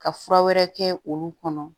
Ka fura wɛrɛ kɛ olu kɔnɔ